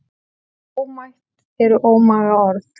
Ómætt eru ómaga orð.